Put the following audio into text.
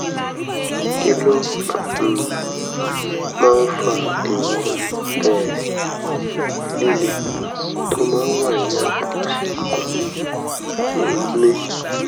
kí ló um máa fa ìrora um líle tó máa ń wà ní apá òsì ikùn um mi?